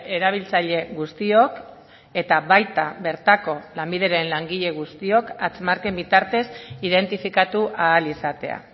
erabiltzaile guztiok eta baita bertako lanbideren langile guztiok hatz marken bitartez identifikatu ahal izatea